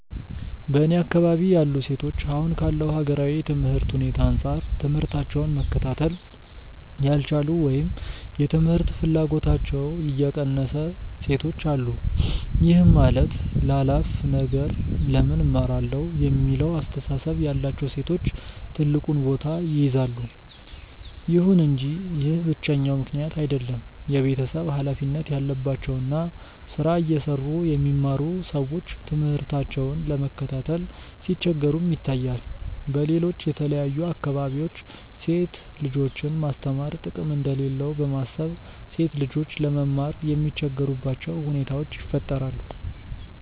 በእኔ አካባቢ ያሉ ሴቶች አሁን ካለው ሀገራዊ የትምህርት ሁኔታ አንጻር ትምህታቸውን መከታተል ያልቻሉ ወይም የትምህርት ፍላጎታቸው የቀነሰ ሴቶች አሉ። ይህም ማለት ላላፍ ነገር ለምን እማራለሁ የሚለው አስተሳሰብ ያላቸው ሴቶች ትልቁን ቦታ ይይዛሉ። ይሁን እንጂ ይህ ብቸኛው ምክንያት አይደለም። የቤተሰብ ሀላፊነት ያለባቸው እና ስራ እየሰሩ የሚማሩ ሰዎች ትምህርታቸውን ለመከታተል ሲቸገሩም ይታያል። በሌሎች የተለያዩ አካባቢዎች ሴት ልጆችን ማስተማር ጥቅም እንደሌለው በማሰብ ሴት ልጆች ለመማር የሚቸገሩባቸው ሁኔታዎች ይፈጠራሉ።